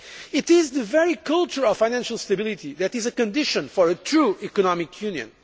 It is the very culture of financial stability that is a condition for a true economic